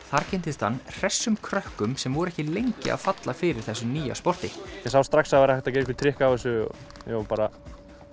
þar kynntist hann hressum krökkum sem voru ekki lengi að falla fyrir þessu nýja sporti ég sá strax að það væri hægt að gera einhver trikk á þessu og var bara